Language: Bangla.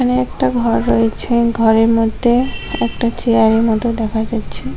এখানে একটা ঘর রয়েছে ঘরের মধ্যে একটা চেয়ারের মতো দেখা যাচ্ছে।